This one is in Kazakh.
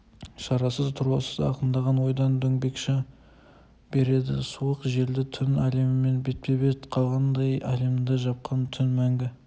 шарасыз тұрлаусыз ағындаған ойдан дөңбекши береді суық желді түн әлемімен бетпе-бет қалғандай әлемді жапқан түн мәңгі